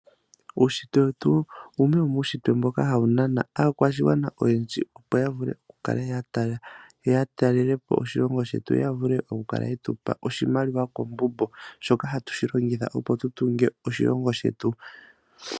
Uushitwe wetu wumwe womuushitwe mboka hawu nana aakwashigwana oyendji, opo ya vule okukala ya talela po oshilongo yo ya vule okukal ye tu pa oshimaliwa koomuma shoka hatu shi longitha, opo tu tunge oshilongo shetu.